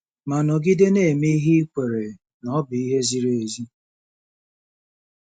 Ma nọgide na-eme ihe i kweere na ọ bụ ihe ziri ezi.